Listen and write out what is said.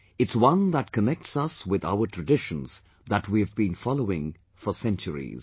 It's one that connects us with our traditions that we have been following for centuries